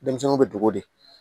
Denmisɛnninw bɛ dogo de